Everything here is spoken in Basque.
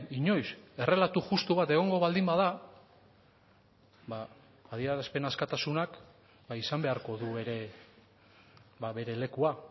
inoiz errelato justu bat egongo baldin bada ba adierazpen askatasunak izan beharko du ere bere lekua